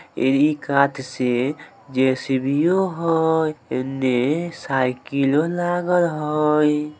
ए इ कात से जे_सी_बी_ओ एन्ने साइकिलो लागल हय।